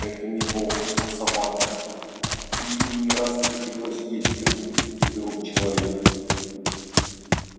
это не волк а собака и ей не раз приходилось есть рыбу из рук человека